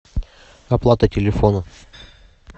оплата телефона